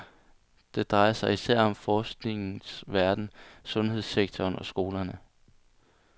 Det drejer sig især om forskningens verden, sundshedssektorensundhedssektoren og skolerne.